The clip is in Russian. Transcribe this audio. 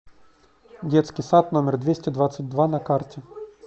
детский сад номер двести двадцать два на карте